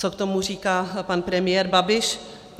Co k tomu říká pan premiér Babiš?